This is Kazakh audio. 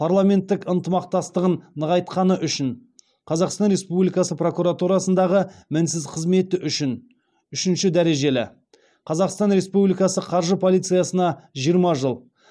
парламенттік ынтымақтастығын нығайтқаны үшін қазақстан республикасы прокуратурасындағы мінсіз қызмет үшін үшінші дәрежелі қазахстан республикасы қаржы полициясына жиырма жыл